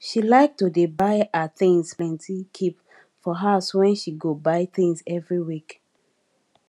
she like to dey buy her things plenty keep for house wen she go buy things every week